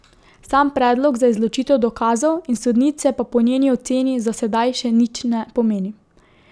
Sam predlog za izločitev dokazov in sodnice pa po njeni oceni za sedaj še nič ne pomeni.